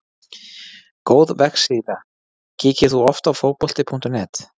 Góð vefsíða Kíkir þú oft á Fótbolti.net?